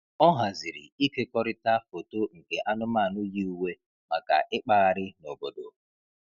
Ọ haziri ịkekọrịta foto nke anụmanụ yi uwe maka ịkpagharị n'obodo.